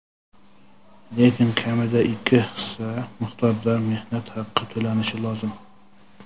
lekin kamida ikki hissa miqdorida mehnat haqi to‘lanishi lozim.